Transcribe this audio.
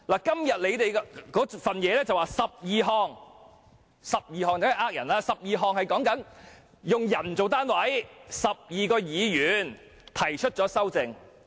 今天的文件指出有12項修訂，但這是騙人的，因為它以人數為單位，即有12名議員提出修訂。